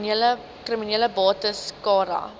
kriminele bates cara